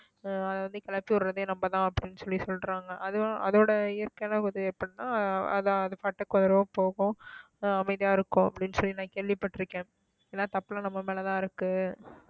ஆஹ் அதை வந்து கிளப்பி விடுறதே நம்மதான் அப்படின்னு சொல்லி சொல்றாங்க அதுவும் அதோட இயற்கையான உதவியை பண்ணா அதான் அது பாட்டுக்கு வரும் போகும் ஆஹ் அமைதியா இருக்கும் அப்படின்னு சொல்லி நான் கேள்விப்பட்டிருக்கேன் ஏன்னா தப்பெல்லாம் நம்ம மேலதான் இருக்கு